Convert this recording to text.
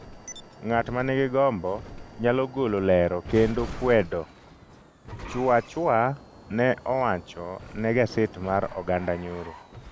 Ng’at ma nigi gombo nyalo golo lero kendo kwedo,” Chuachua ne owacho ne gaset mar oganda nyoro.